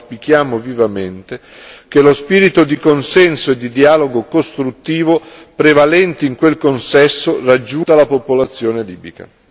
Auspichiamo vivamente che lo spirito di consenso e di dialogo costruttivo prevalenti in quel consesso raggiungano tutta la popolazione libica.